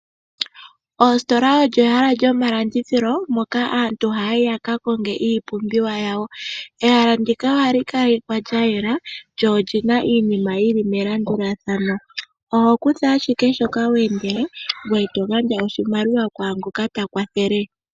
Oositola olyo ehala lyomalandithilo moka aantu ha yayi yaka konge iipumbiwa yawo. Ehala ndika ohali kalekwa lya yela no lina iinima yili melandulathano, oho kutha ashike shoka wa endela ngwe togandja oshimaliwa kwaa ngoka ta kwathele.